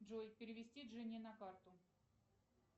джой перевести жене на карту